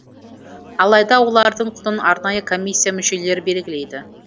алайда олардың құнын арнайы комиссия мүшелері белгілейді